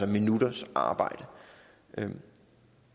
minutters arbejde jeg